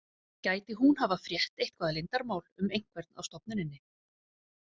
Gæti hún hafa frétt eitthvað leyndarmál um einhvern á stofnuninni?